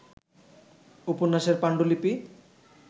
উপন্যাসের পাণ্ডুলিপি